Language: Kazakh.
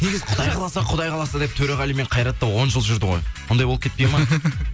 негізі құдай қаласа құдай қаласа деп төреғали мен қайрат та он жыл жүрді ғой ондай болып кетпейді ма